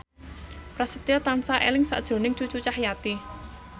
Prasetyo tansah eling sakjroning Cucu Cahyati